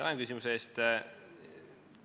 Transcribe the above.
Tänan küsimuse eest!